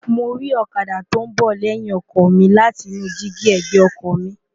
mo ri ọ̀kadà tó ń bọ̀ lẹ́yìn ọkọ̀ mi láti inú dígí ẹ̀gbẹ́ ọkọ mi